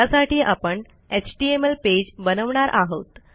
त्यासाठी आपण HTML page बनवणार आहोत